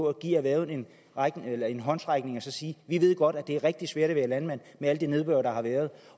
at give erhvervet en håndsrækning og sige vi ved godt at det er rigtig svært at være landmand med alt det nedbør der har været